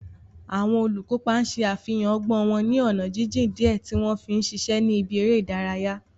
Àwọn olùkópa ṣe àfihàn ọgbọ́n wọn ní ọ̀nà jíjìn díẹ̀ tí wọ́n ń ṣiṣẹ́ ní ibi eré ìdárayá.